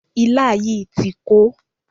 Ilá yìí ti kó.